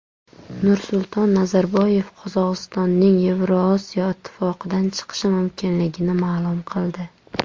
Nursulton Nazarboyev Qozog‘istonning Yevrosiyo ittifoqidan chiqishi mumkinligini ma’lum qildi.